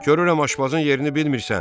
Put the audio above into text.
Görürəm aşbazın yerini bilmirsən.